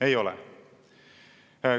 Ei ole.